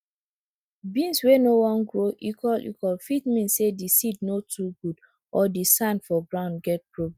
beans wey no wan no wan grow equal equal fit mean say di seed no too good or di sand for ground get problem